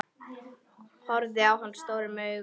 Horfði á hana stórum augum.